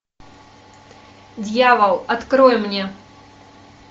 дьявол открой мне